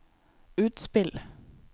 utspill